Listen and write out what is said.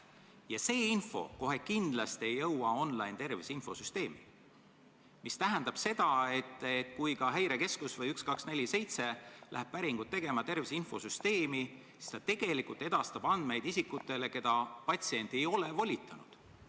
Ja see info kohe kindlasti ei jõua online-terviseinfosüsteemi, mis tähendab seda, et kui Häirekeskus või 1247 läheb tervise infosüsteemi päringut tegema, siis ta tegelikult edastab andmeid isikutele, keda patsient ei ole volitanud.